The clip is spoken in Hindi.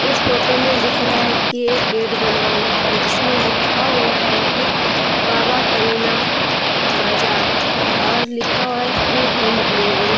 इस फोटो में दिख रहा है कि एक गेट बना हुआ है जिसमें लिखा हुआ है कि बाबा करीना बाजार और लिखा हुआ है फ्री होम डिलीवरी ।